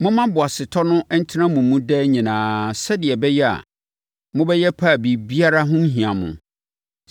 Momma boasetɔ no ntena mo mu daa nyinaa sɛdeɛ ɛbɛyɛ a, mobɛyɛ pɛ a biribiara ho renhia mo.